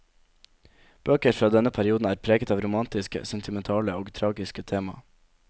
Bøker fra denne perioden er preget av romantiske, sentimentale og tragiske tema.